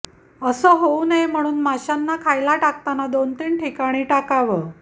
असं होऊ नये म्हणून माशांना खायला टाकताना दोन तीन ठिकाणी टाकावं